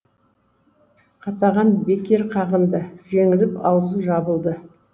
қатаған бекер қағынды жеңіліп аузы жабылды